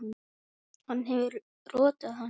Hann hefur rotað hann!